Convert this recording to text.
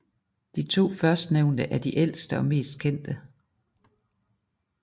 De to førstnævnte er de ældste og mest kendte